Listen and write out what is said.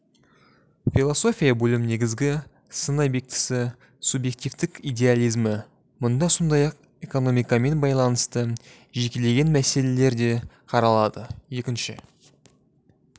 философия бөлім негізгі сын объектісі субъективтік идеализмі мұнда сондай-ақ экономикамен байланысты жекелеген мәселелер де қаралады екінші